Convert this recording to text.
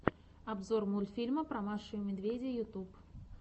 обзор мультфильма про машу и медведя ютуб